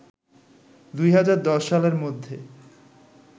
২০১০ সালের মধ্যে